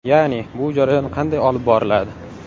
Ya’ni bu jarayon qanday olib boriladi?